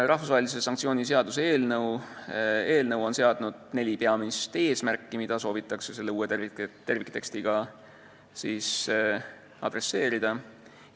Rahvusvahelise sanktsiooni seaduse eelnõu on seadnud neli peamist eesmärki, mida soovitakse uuele terviktekstile toetudes saavutada.